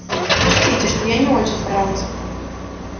учтите что я не очень старался